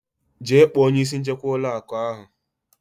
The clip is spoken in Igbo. Jee kpọọ onye isi nchekwa ụlọ akụ ahụ.